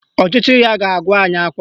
Ọchịchị ya ga-agụ anyị akwa